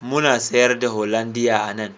Muna sayar da hollandia a nan